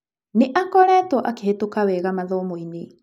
Nĩ akoretwo akĩhetũka wega mathomo-inĩ.